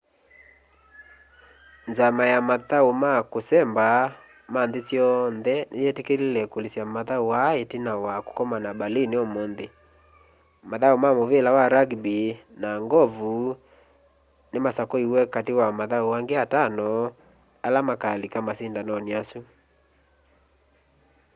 nzama ya mathau ma kusemba ma nthi syonthe ni yitikile kulikya mathau aa itina wa kukomania berlin umunthi mathau ma muvila wa rugby na ng'ovu ni masakuiwe kati wa mathau angi atano ala makalika masindanoni asu